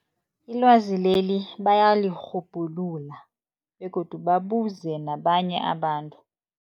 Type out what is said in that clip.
Ilwazi leli bayalirhubhulula begodu babuze nabanye abantu.